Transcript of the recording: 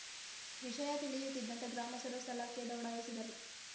ವಿಷಯ ತಿಳಿಯುತ್ತಿದ್ದಂತೆ ಗ್ರಾಮಸ್ಥರು ಸ್ಥಳಕ್ಕೆ ದೌಡಾಯಿಸಿದರು